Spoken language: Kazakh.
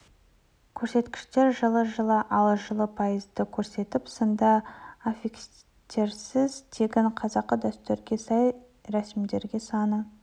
көрсеткіштер жылы жылы ал жылы пайызды көрсетіп сынды аффикстерсіз тегін қазақы дәстүрге сай ресімдегендер саны